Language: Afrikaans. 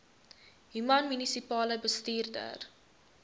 human munisipale bestuurder